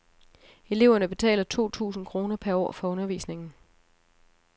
Eleverne betaler to tusind kroner per år for undervisningen.